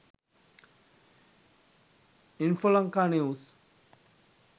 infolanka news